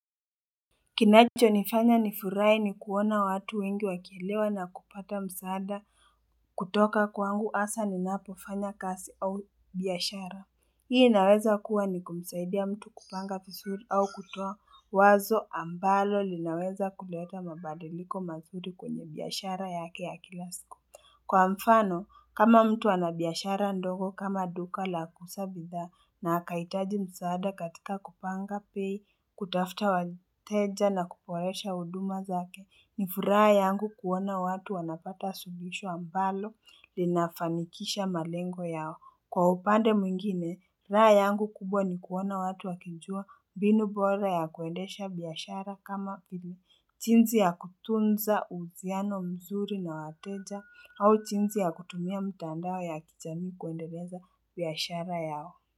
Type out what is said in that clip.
Kinachonifanya nifurahi ni kuona watu wengi wakielewa na kupata msaada kutoka kwangu hasa ni napofanya kasi au biashara. Hii inaweza kuwa ni kumsaidia mtu kupanga visuri au kutoa wazo ambalo linaweza kuleta mabadiliko mazuri kwenye biashara yake ya kila siku. Kwa mfano, kama mtu ana biashara ndogo kama duka la kuusa bidhaa na akahitaji msaada katika kupanga pei, kutafuta wateja na kuporesha huduma zake, ni furaha yangu kuona watu wanapata suluhisho ambalo linafanikisha malengo yao. Kwa upande mwingine, raha yangu kubwa ni kuona watu wakijua mbinu bora ya kuendesha biashara kama chinsi ya kutunzauhusiano mzuri na wateja au chinsi ya kutumia mtandao ya kijamii kuendeleza biashara yao.